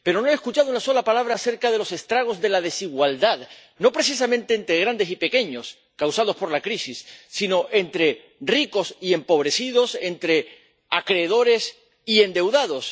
pero no he escuchado una sola palabra acerca de los estragos de la desigualdad, no precisamente entre grandes y pequeños —causados por la crisis—, sino entre ricos y empobrecidos, entre acreedores y endeudados.